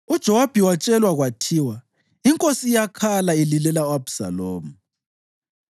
UJowabi watshelwa kwathiwa, “Inkosi iyakhala ililela u-Abhisalomu.”